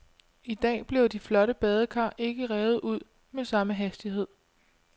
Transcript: I dag bliver de flotte badekar ikke revet ud med samme hastighed.